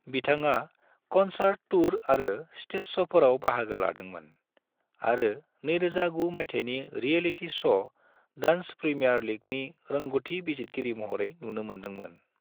बिथांआ concert tour आरो stage show फोराव बाहागो लादोंमोन, आरो 2009 माइथायनि रियलिटी श' डांस प्रीमियर लीगनि रोंगथि बिजितगिरि महरै नुनो मोनदोंमोन ।